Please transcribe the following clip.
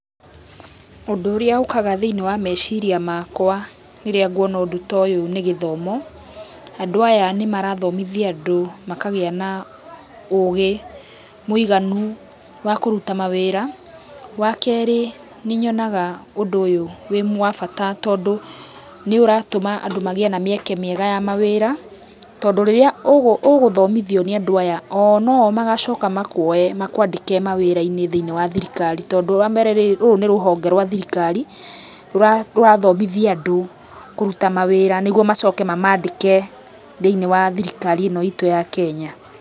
Ũndũ ũrĩa ũkaga thĩiniĩ wa meciria makwa rĩrĩa nguona ũndũ ta ũyũ nĩ gĩthomo, andũ aya nĩmarathomithia andũ makagĩa na ũgĩ mũiganu wa kũruta mawĩra. Wa kerĩ, nĩnyonaga ũndũ ũyũ wĩ wa bata tondũ nĩũratũma andũ magĩe na mĩeke mĩega ya mawĩra, tondũ rĩrĩa ũgũthomithio nĩ andũ aya, o no o magacoka makuoye makwandĩke mawĩra thĩiniĩ wa thirikari, tondũ wa mbere rĩ rũrũ nĩ rũhonge rwa thirikari rũrathomithia andũ kũruta mawĩra, nĩguo macoke mamandĩke thĩiniĩ wa thirikari ĩ no itũ ya Kenya.